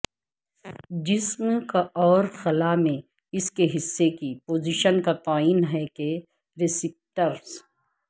جسم اور خلا میں اس کے حصے کی پوزیشن کا تعین ہے کہ رسیپٹرس